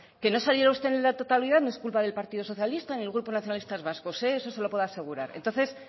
que no saliera usted en la totalidad no es culpa del partido socialista ni el grupo nacionalistas vascos eso se lo puedo asegurar entonces